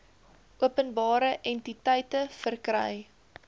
openbare entiteite verkry